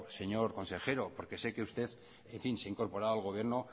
señor consejero porque sé que usted en fin se ha incorporado al gobierno